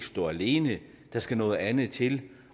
stå alene der skal noget andet til